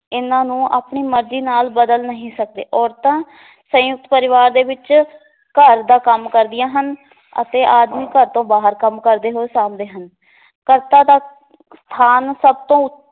ਇਹਨਾਂ ਨੂੰ ਆਪਣੀ ਮਰਜੀ ਨਾਲ ਬਦਲ ਨਹੀ ਸਕਦੇ ਔਰਤਾਂ ਸੰਯੁਕਤ ਪਰਿਵਾਰ ਦੇ ਵਿਚ ਘਰ ਦਾ ਕੰਮ ਕਰਦੀਆਂ ਹਨ ਅਤੇ ਆਦਮੀ ਘਰ ਤੋਂ ਬਾਹਰ ਕੰਮ ਕਰਦੇ ਹੋਏ ਸਾਂਭਦੇ ਹਨ ਕਰਤਾ ਦਾ ਸਥਾਨ ਸਭ ਤੋਂ